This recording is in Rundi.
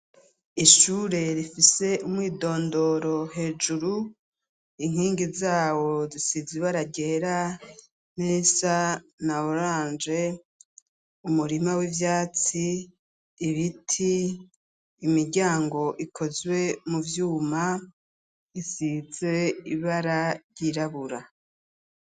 Ishure rifise umwidondoro hejuru .Inkingi zawo zisizi ibara ryera nirisa na oranje umurima w'ivyatsi ibiti imiryango ikozwe mu vyuma isize ibara ryirabura.